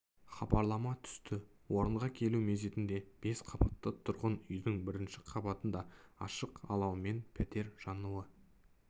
хабарлама түсті орынға келу мезетінде бес қабатты тұрғын үйдің бірінші қабатында ашық алаумен пәтер жануы